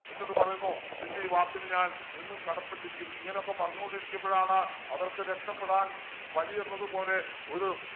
എന്നിട്ടു പറയുന്നു നിൻ്റെ ഈ വാക്കിന് ഞാൻ എന്നും കടപ്പെട്ടിരിക്കും ഇങ്ങനെയൊക്കെ പറഞ്ഞുകൊണ്ട് ഇരിക്കുമ്പോഴാണ് അവർക്ക് രക്ഷപ്പെടാൻ വഴിയെന്നത് പോലെ ഒരു